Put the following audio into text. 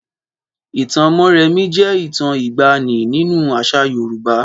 Ìtàn Mórèmí jẹ́ ìtàn ìgbanì nínú àṣà Yorùbá.